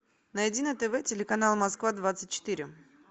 найди на тв телеканал москва двадцать четыре